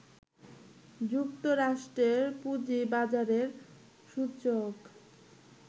যুক্তরাষ্ট্রের পুঁজিবাজারের সূচক